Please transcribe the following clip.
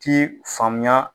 T'i faamuya